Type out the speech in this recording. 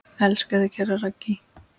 Elska þig, kæra Raggý.